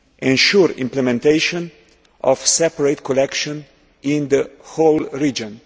ensure implementation of separate collection in the whole region